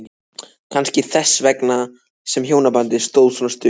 Kannski þess vegna sem hjónabandið stóð svona stutt.